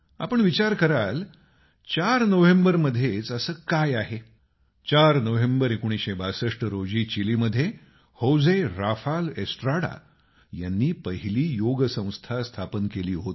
आपण विचार कराल चार नोव्हेंबरमध्येच असं काय आहे 4 नोव्हेंबर 1962 रोजी चीलीमध्ये होजे राफाल एस्ट्राडा यांनी पहिली योग संस्था स्थापन केली होती